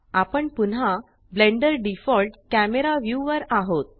आपण पुन्हा Blender default camera view वर आहोत